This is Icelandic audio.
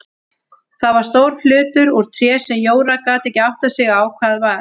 Það var stór hlutur úr tré sem Jóra gat ekki áttað sig á hvað var.